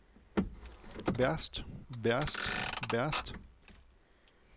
værst værst værst